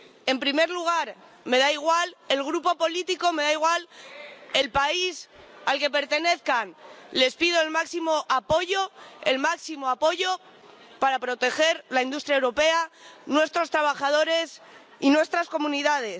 En primer lugar, me da igual el Grupo político, me da igual el país al que pertenezcan, les pido el máximo apoyo para proteger la industria europea, a nuestros trabajadores y nuestras comunidades.